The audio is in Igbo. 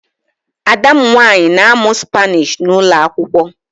Ada m nwanyị na-amụ Spanish n'ụlọ akwụkwọ